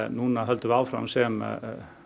núna höldum við áfram sem